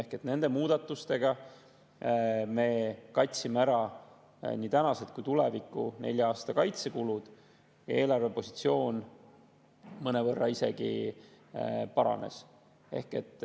Ehk nende muudatustega me katame ära nii praegused kui tuleviku, nelja aasta kaitsekulud, eelarvepositsioon mõnevõrra isegi paranes.